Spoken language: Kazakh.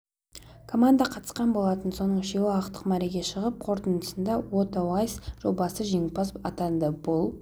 команда қатысқан болатын соның үшеуі ақтық мәреге шығып қорытындысында уота уайс жобасы жеңімпаз атанды бұл